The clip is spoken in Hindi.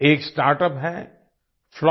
एक स्टार्टअप है FluxGen